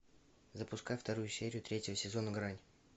запускай вторую серию третьего сезона грань